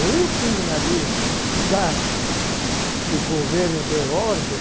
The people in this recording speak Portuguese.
O último navio que já, que o governo deu ordem,